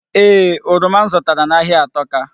Ee, oroma m zụtara n'ahịa atọka.